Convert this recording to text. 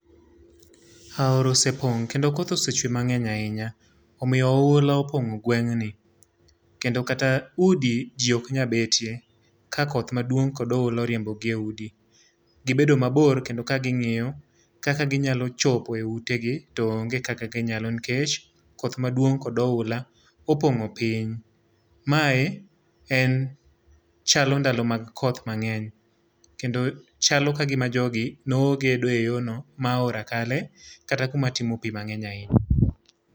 Aora osepong' kendo koth osechue mang'eny ahinya. Omiyo oula opong'o gweng'ni kendo kata udi ji ok nyalbetie ka koth maduong' kod oula oriembo gi eudi. Gibedo mabor kendo kaging'iyo ka ginyalo chopo eutegi to onge kaka ginyalo chopo, koth maduong' kod oula opong'o piny. Mae chalo ndalo koth mang'eny kendo chalo kagima jogi ne ogedo eyono ma aora kale kata kuma timo pimang'eny ahinya.